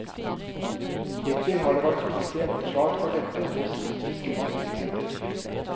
Hittill har det vært lite gjennomslag for dette hos indiske myndigheter.